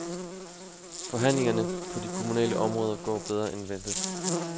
Forhandlingerne på de kommunale områder går bedre end ventet.